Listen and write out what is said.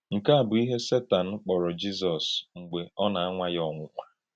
Nkè à bụ̀ íhè Sètàn kpọ̀rọ̀ Jízọs mgbe ọ̀ na-anwà yá ọnwụ̀nwà.